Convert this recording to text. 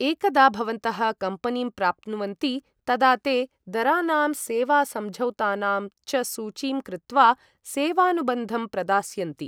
एकदा भवन्तः कम्पनीं प्राप्नुवन्ति तदा ते दरानाम् सेवासमझौतानां च सूचीं कृत्वा सेवानुबन्धं प्रदास्यन्ति।